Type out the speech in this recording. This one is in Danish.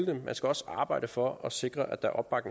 dem man skal også arbejde for at sikre